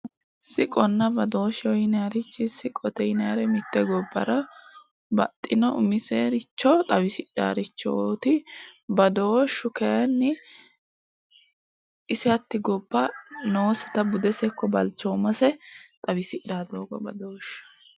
Sicconna badooshsh yinayirichi siqqote yinayitti mitte gobbara baxxinno umisericho xawissannorichoitti badooshshu kayinni ise hatti gobba nooseta budenna balichooMasse xawisidhanno doogo badosheetti